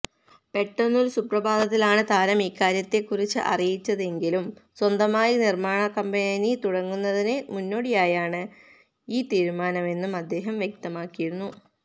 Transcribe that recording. പെട്ടെന്നൊരു സുപ്രഭാതത്തിലാണ് താരം ഇക്കാര്യത്തെക്കുറിച്ച് അറിയിച്ചതെങ്കിലും സ്വന്തമായി നിര്മ്മാണക്കമ്പനി തുടങ്ങുന്നതിന് മുന്നോടിയായാണ് ഈ തീരുമാനമെന്നും അദ്ദേഹം വ്യക്തമാക്കിയിരുന്നു